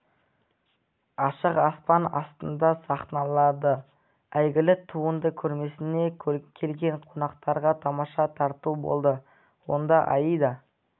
ашық аспан астында сахналанды әйгілі туынды көрмесіне келген қонақтарға тамаша тарту болды онда аида